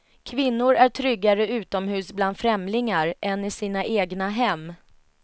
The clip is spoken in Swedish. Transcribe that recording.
Kvinnor är tryggare utomhus bland främlingar än i sina egna hem.